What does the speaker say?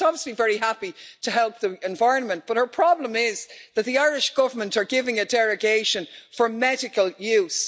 She's obviously very happy to help the environment, but her problem is that the Irish Government are giving a derogation for medical use.